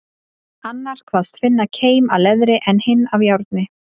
Annar kvaðst finna keim af leðri, en hinn af járni.